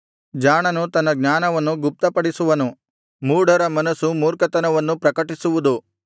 ಜಾಣನು ತನ್ನ ಜ್ಞಾನವನ್ನು ಗುಪ್ತಪಡಿಸುವನು ಮೂಢರ ಮನಸ್ಸು ಮೂರ್ಖತನವನ್ನು ಪ್ರಕಟಿಸುವುದು